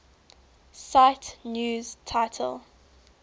cite news title